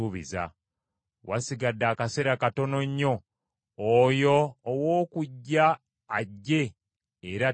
Wasigadde akaseera katono nnyo, oyo ow’okujja ajje era talirwa.